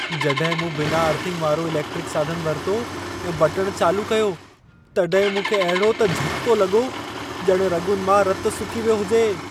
जॾहिं मूं बिना अर्थिंग वारो इलेक्ट्रिक साधन वरितो ऐं बटणु चालू कयो, तॾहिं मूंखे अहिड़ो त झटिको लॻो, ॼणु रॻुनि मां रतु सुकी वियो हुजे।